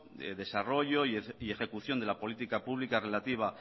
desarrollo y ejecución de la política pública relativa